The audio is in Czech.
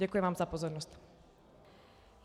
Děkuji vám za pozornost.